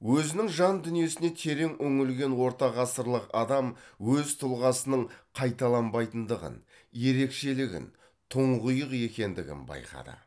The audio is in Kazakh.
өзінің жан дүниесіне терең үңілген ортағасырлық адам өз тұлғасының қайталанбайтындығын ерекшелігін тұңғиық екендігін байқады